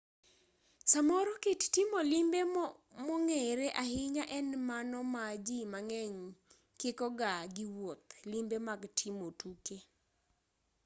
samoro kit timo limbe mong'ere ahinya en mano ma ji mang'eny kiko ga gi wuoth limbe mag timo tuke